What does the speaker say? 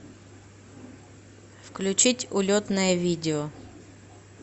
включить улетное видео